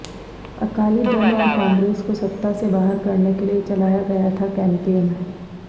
अकाली दल और कांग्रेस को सत्ता से बाहर करने के लिए चलाया गया था कैंपेन